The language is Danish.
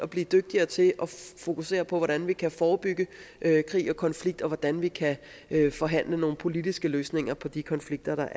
bliver dygtigere til at fokusere på hvordan vi kan forebygge krig og konflikt og hvordan vi kan forhandle nogle politiske løsninger på de konflikter